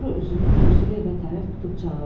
Sonra üzünü kürsülü evə tərəf tutub çağırdı.